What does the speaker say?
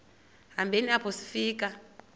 hambeni apho sifika